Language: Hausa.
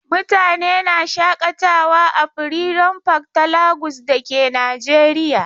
Mutane na shaƙatawa a freedom park ta Lagos da ke Najeriya.